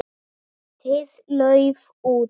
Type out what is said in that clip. Lítið lauf út.